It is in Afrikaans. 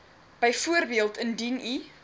byvoorbeeld indien u